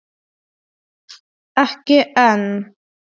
Ekki enn.